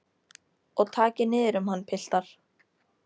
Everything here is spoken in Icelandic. Og takið niður um hann piltar.